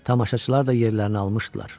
Tamaşaçılar da yerlərini almışdılar.